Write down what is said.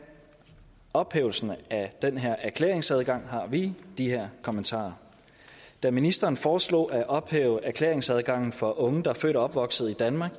ophævelsen af den her erklæringsadgang har vi de her kommentarer da ministeren foreslog at ophæve erklæringsadgangen for unge der er født og opvokset i danmark